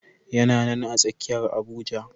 Yana nan a tsakiyar Abuja.